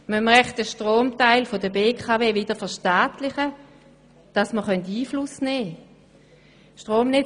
Müssen wir wohl den Strombereich der BKW wieder verstaatlichen, damit wir Einfluss nehmen können?